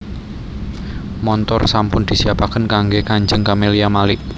Montor sampun disiapaken kangge kanjeng Camelia Malik